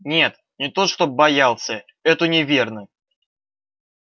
нет не то чтоб боялся это неверно